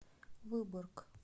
выборг